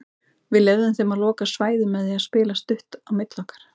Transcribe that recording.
Við leyfðum þeim að loka svæðum með því að spila stutt á milli okkar.